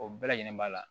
O bɛɛ lajɛlen b'a la